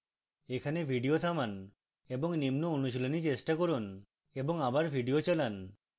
এখানে video থামান এবং নিম্ন অনুশীলনী চেষ্টা করুন এবং আবার video চালান